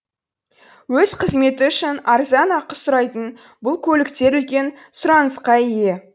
өз қызметі үшін арзан ақы сұрайтын бұл көліктер үлкен сұранысқа ие